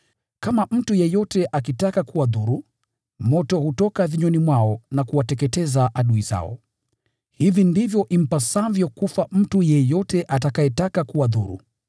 Kama mtu yeyote akitaka kuwadhuru, moto hutoka vinywani mwao na kuwateketeza adui zao. Hivi ndivyo impasavyo kufa mtu yeyote atakayetaka kuwadhuru.